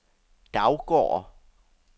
Daugård